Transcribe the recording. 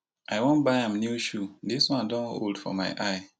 i wan buy am new shoe dis one don old for my eye